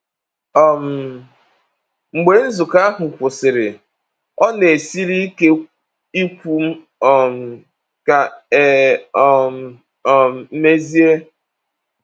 um Mgbe nzukọ ahụ kwụsịrị, ọ na-esiri ike ikwu um ka e um um mesịe.